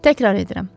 Təkrar edirəm.